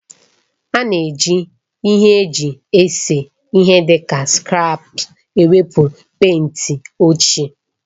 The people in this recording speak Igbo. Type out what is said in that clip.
A na-eji ihe eji ese ihe dị ka skrèpas ewepụ pèịnt ochie